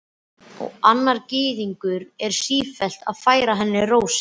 Og annar Gyðingur er sífellt að færa henni rósir.